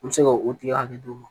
N bɛ se ka o tigɛ ka d'u ma